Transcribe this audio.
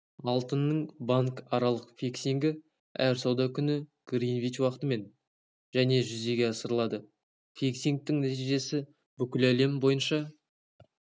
алтынның банкаралық фиксингі әр сауда күні гринвич уақытымен және жүзеге асырылады фиксингтің нәтижесі бүкіл әлем бойынша